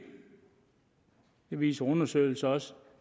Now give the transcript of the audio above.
viser undersøgelser også